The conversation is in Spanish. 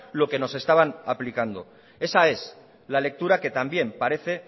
lo que nos estaban aplicando esa es la lectura que también parece